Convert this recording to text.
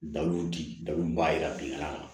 Daluw di dabun b'a jira bi la